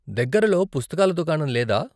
దగ్గరలో పుస్తకాల దుకాణం లేదా?